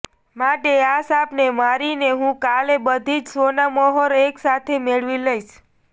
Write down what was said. માટે આ સાપને મારીને હું કાલે બધી જ સોનામહોરો એક સાથે મેળવી લઇશ